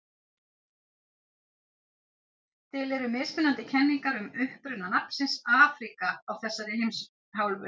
til eru mismunandi kenningar um uppruna nafnsins afríka á þeirri heimsálfu